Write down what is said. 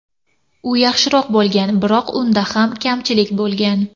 U yaxshiroq bo‘lgan, biroq unda ham kamchilik bo‘lgan.